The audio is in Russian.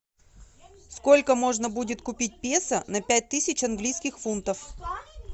сколько можно будет купить песо на пять тысяч английских фунтов